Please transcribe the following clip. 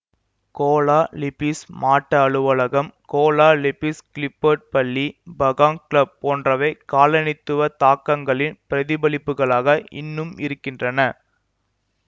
Cola Lipis மாட்ட அலுவலகம் Kuala Lipis Clifford பள்ளி பகாங் கிளப் போன்றவை காலனித்துவத் தாக்கங்களின் பிரதிபலிப்புகளாக இன்னும் இருக்கின்றன